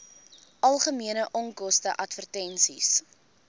algemene onkoste advertensies